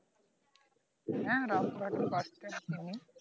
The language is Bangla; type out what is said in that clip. হ্যাঁ, রামঘাটে bus stand চিনি